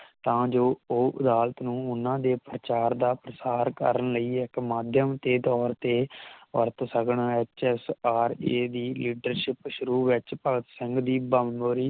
ਤਾਂ ਜੋ ਉਹ ਅਦਾਲਤ ਨੂੰ ਉਹਨਾਂ ਦੇ ਪ੍ਰਚਾਰ ਦਾ ਪ੍ਰਸਾਰ ਕਰਨ ਲਈ ਇਕ ਮਾਧਿਅਮ ਦੇ ਤੌਰ ਤੇ ਵਰਤ ਸਕਣ ਐਚ ਐੱਸ ਆਰ ਏ ਦੀ ਲੀਡਰਸ਼ਿਪ ਸ਼ੁਰੂ ਵਿਚ ਭਗਤ ਸਿੰਘ ਦੀ ਬੰਬੋਰੀ